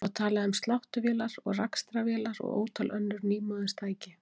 Það var talað um sláttuvélar og rakstrarvélar og ótal önnur nýmóðins tæki.